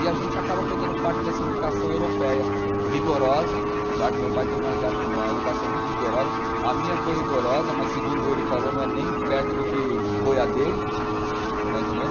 E a gente acaba pegando parte dessa educação europeia rigorosa, tá que meu pai teve uma educação muito rigorosa, a minha foi rigorosa, mas segundo ele falou, não é nem perto do que foi a dele, está entendendo?